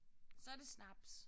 Så er det snaps